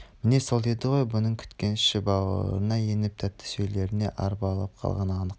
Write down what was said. міне сол еді ғой бұның күткен іші-бауырына еніп тәтті сөйлегеніне арбалып қалғаны анық